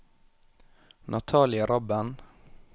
Natalie Rabben